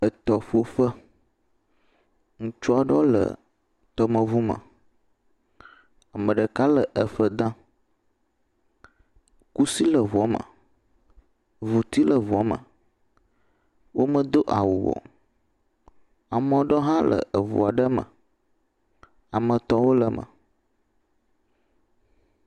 Etɔƒoƒe, ŋutsu aɖewo le tɔme ŋu me. Ame ɖeka aɖe le eɖɔ dam. Kusi le eŋua me, ŋuti le eŋua me. Wo medo awu o. ame aɖewo hã le ŋua ɖe me. Ame etɔ wò le eme.